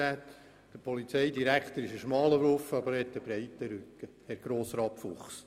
Der Polizeidirektor ist ein schmaler Wurf, doch er hat einen breiten Rücken, Herr Grossrat Fuchs.